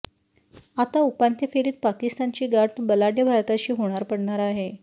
आता उपांत्य फेरीत पाकिस्तानची गाठ बलाढ्य भारताशी होणार पडणार आहे